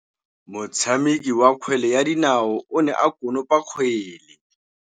Motshameki wa kgwele ya dinaô o ne a konopa kgwele.